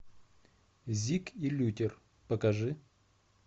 зик и лютер покажи